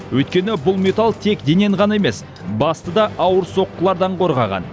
өйткені бұл металл тек денені ғана емес басты да ауыр соққылардан қорғаған